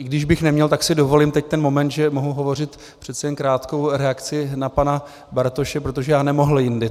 I když bych neměl, tak si dovolím teď ten moment, že mohu hovořit, přeci jen krátkou reakci na pana Bartoše, protože já nemohl jindy.